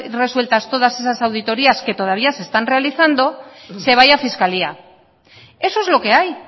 resueltas todas esas auditorias que todavía se están realizando se vaya a fiscalía eso es lo que hay